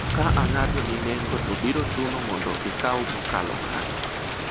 ka ang'ado ni nengo to biro chuno mondo ikaw mokalo kanyo